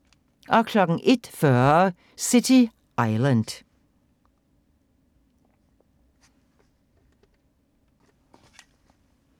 01:40: City Island